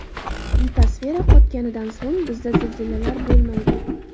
Litosfera qotganidan so‘ng bizda zilzilalar bo‘lmaydi.